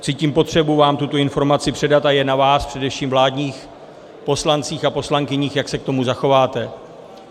Cítím potřebu vám tuto informaci předat a je na vás, především vládních poslancích a poslankyních, jak se k tomu zachováte.